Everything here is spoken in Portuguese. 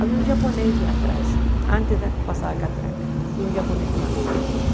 Havia um japonês lá atrás, antes da passada catraca, tinha um japonês tomando sorvete.